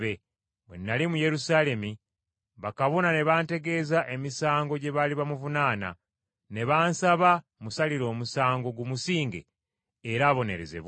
Bwe nnali mu Yerusaalemi, bakabona ne bantegeeza emisango gye baali bamuvunaana, ne bansaba musalire omusango gumusinge era abonerezebwe.